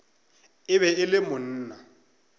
e be e le monna